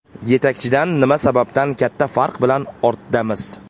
Yetakchidan nima sababdan katta farq bilan ortdamiz?